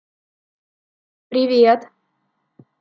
привет